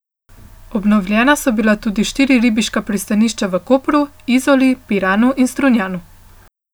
Obnovljena so bila tudi štiri ribiška pristanišča v Kopru, Izoli, Piranu in Strunjanu.